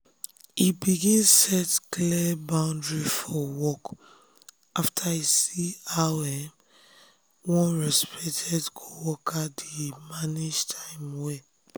e begin set clear boundary for work after e see how um one respected coworker dey um manage time well.